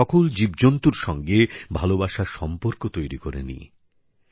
আমরা সকল জীবজন্তুর সঙ্গে ভালোবাসার সম্পর্ক তৈরি করে নিই